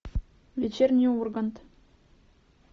вечерний ургант